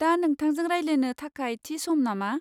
दा नोंथांजों रायज्लायनो थाखाय थि सम नामा?